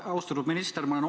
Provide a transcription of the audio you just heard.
Austatud minister!